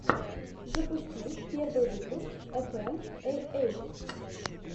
запусти первый выпуск эфэм эй эйт